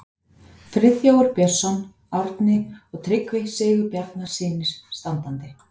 Friðþjófur Björnsson, Árni og Tryggvi Sigurbjarnarson standandi.